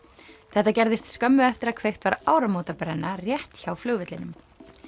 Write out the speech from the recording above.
þetta gerðist skömmu eftir að kveikt var áramótabrenna rétt hjá flugvellinum